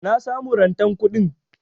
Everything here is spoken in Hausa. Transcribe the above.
Na samu rantan kuɗin.